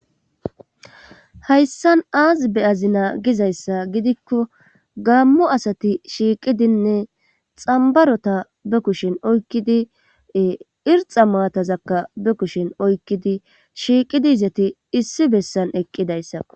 Hayssan aasi be azina gizayssa gidikko gammo asati shiiqidinne xambarota be kushin oykkidie irxa maatazakka be kushin oykkidi shiiqidi izati issi bessan eqqidayssa.